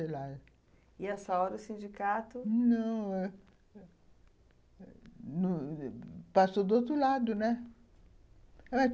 E, a essa hora, o sindicato... Não... passou do outro lado, né?